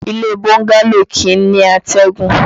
Ilé bọ́ńgálò kìí ní àtẹ̀gùn